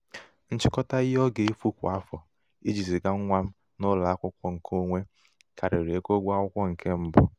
nchịkọta ihe ọ ga-efu kwa afọ iji ziga nwa m n'ụlọ akwụkwọ nke onwe karịrị égo ụgwọ akwụkwọ nke mbụ.